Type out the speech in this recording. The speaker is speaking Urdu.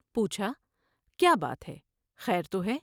پو چھا کیا بات ہے ۔خیر تو ہے ۔